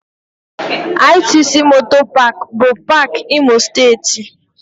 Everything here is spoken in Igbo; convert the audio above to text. ITC MOTOR Park bụ paak Imo Steeti